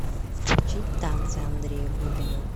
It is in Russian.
включить танцы андрея губина